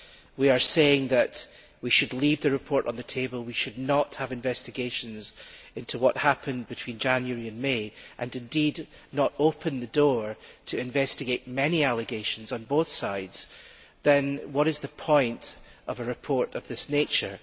If we are saying that we should leave the report on the table, and we should not have investigations into what happened between January and May, and indeed not open the door to investigate many allegations on both sides, what is the point of a report of this nature?